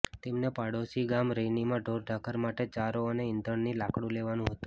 તેમને પાડોશી ગામ રૈનીમાં ઢોરઢાખર માટે ચારો અને ઇંધણની લાકડુ લેવાનું હતું